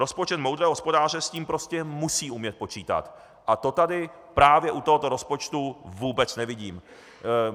Rozpočet moudrého hospodáře s tím prostě musí umět počítat a to tady právě u tohoto rozpočtu vůbec nevidím.